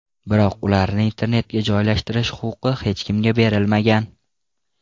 Biroq ularni internetga joylashtirish huquqi hech kimga berilmagan.